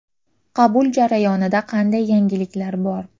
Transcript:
Qabul jarayonida qanday yangiliklar bor?